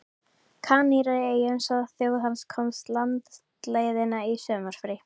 Kanaríeyjum svo þjóð hans komist landleiðina í sumarfrí.